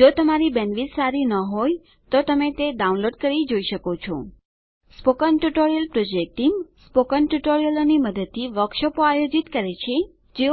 જો તમારી પાસે બેન્ડવિડ્થ સારી ન હોય તો તમે તે ડાઉનલોડ કરી જોઈ શકો છો spoken tutorial project team spoken ટ્યુટોરીયલોની મદદથી વર્કશોપો આયોજિત કરે છે